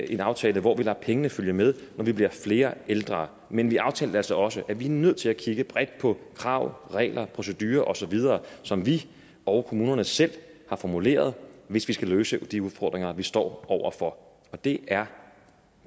en aftale hvor vi lader pengene følge med når vi bliver flere ældre men vi aftalte altså også at vi er nødt til at kigge bredt på krav regler procedurer osv som vi og kommunerne selv har formuleret hvis vi skal løse de udfordringer vi står over for og det er